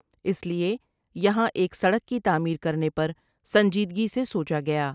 اس لیے یہاں ایک سڑک کی تعمیر کرنے پر سنجیدیگی سے سوچا گیا ۔